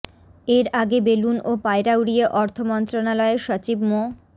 এর আগে বেলুন ও পায়রা উড়িয়ে অর্থ মন্ত্রণালয়ের সচিব মো